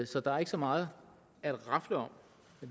så der er ikke så meget at rafle om